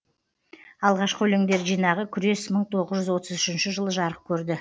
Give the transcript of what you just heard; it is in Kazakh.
алғашқы өлеңдер жинағы күрес мың тоғыз жүз отыз үшінші жылы жарық көрді